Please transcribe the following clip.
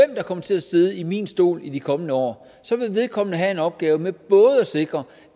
der kommer til at sidde i min stol i de kommende år vil vedkommende have en opgave med både at sikre